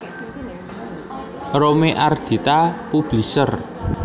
Rome Ardita Publishers